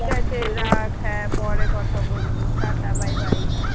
রাখ হ্যাঁ পরে কথা বলবো tata bye bye